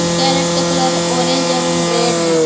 Crate का colour orange एवं red है।